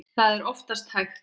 Það er oftast hægt.